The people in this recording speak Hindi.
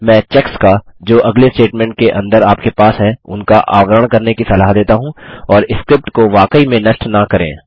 मैं चेक्स का जो अगले स्टेटमेंट के अंदर आपके पास हैं उनका आवरण करने की सलाह देता हूँ और स्क्रिप्ट को वाकई में नष्ट न करें